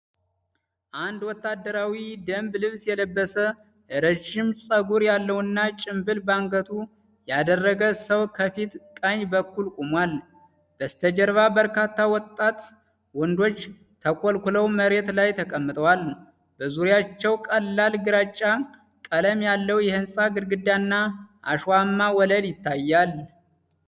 አንድ ወታደራዊ የደንብ ልብስ የለበሰ፣ ረጅም ፀጉር ያለውና ጭምብል በአንገቱ ያደረገ ሰው ከፊት ቀኝ በኩል ቆሟል። በስተጀርባ በርካታ ወጣት ወንዶች ተኮልኩለው መሬት ላይ ተቀምጠዋል፤ በዙሪያቸው ቀላል ግራጫ ቀለም ያለው የህንፃ ግድግዳና አሸዋማ ወለል ይታያል።